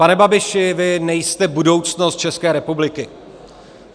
Pane Babiši, vy nejste budoucnost České republiky.